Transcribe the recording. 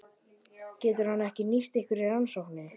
Getur hann ekki nýst ykkur í rannsókninni?